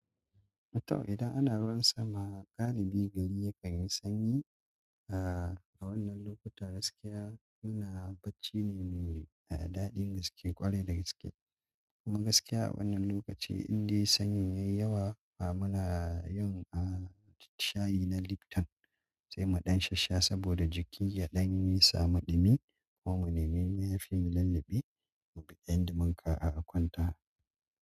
Matan idan ana ruwan sama, galibi gari ya kanyi sanyi. A wannan lokuta gaskiya muna bacci ne mai daɗin gaske ƙwarai da gaske. Kuma gaskiya a wannan lokaci indai sanyi yayi yawa ah muna yin shayi na lipton sai muɗan shasha saboda jiki yaɗan yi samu ɗumi ko mu nemi mayafi mu lalluɓe mu biɗan dimanka a kwanta.